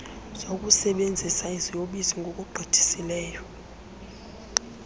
zokusebenzisa iziyobisi ngokugqithisileyo